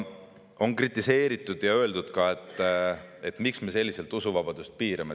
On kritiseeritud ja öeldud, et miks me selliselt usuvabadust piirame.